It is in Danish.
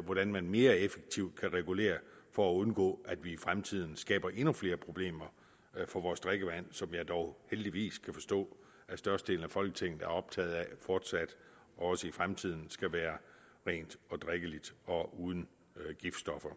hvordan man mere effektivt kan regulere for at undgå at vi i fremtiden skaber endnu flere problemer for vores drikkevand som jeg dog heldigvis kan forstå at størstedelen af folketinget er optaget af fortsat og også i fremtiden skal være rent og drikkeligt og uden giftstoffer